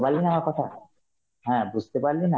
পারলি না আমার কথা? হ্যাঁ বুঝতে পারলি না